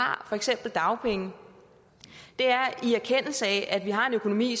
har for eksempel dagpenge er en erkendelse af at vi har en økonomi